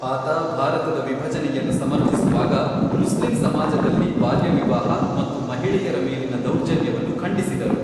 ಆತ ಭಾರತದ ವಿಭಜನೆಯನ್ನು ಸಮರ್ಥಿಸುವಾಗ, ಮುಸ್ಲಿಂ ಸಮಾಜದಲ್ಲಿ ಬಾಲ್ಯ ವಿವಾಹ ಮತ್ತು ಮಹಿಳೆಯರ ಮೇಲಿನ ದೌರ್ಜನ್ಯವನ್ನು ಖಂಡಿಸಿದರು.